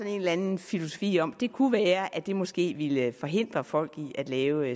en eller anden filosofi om at det kunne være at det måske ville forhindre folk i at lave